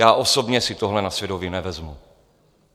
Já osobně si tohle na svědomí nevezmu.